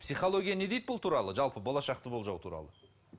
психология не дейді бұл туралы жалпы болашақты болжау туралы